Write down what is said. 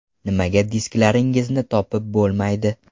Nimaga disklaringizni topib bo‘lmaydi?